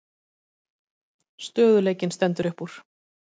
Stöðugleikinn stendur upp úr